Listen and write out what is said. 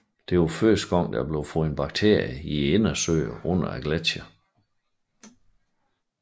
Det var første gang der er blevet fundet bakterier i indsøer under gletsjere